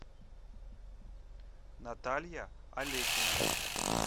наталья алекина